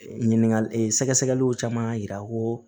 Ɲininkali sɛgɛsɛgɛliw caman yira ko